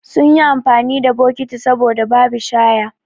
Sunyi amfani da bokiti saboda babi shaya